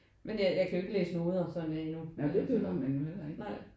Men øh jeg kan jo ikke læse noter sådan endnu men altså nej